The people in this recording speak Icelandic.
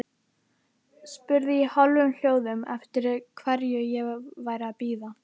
Spurði í hálfum hljóðum eftir hverju ég væri að bíða.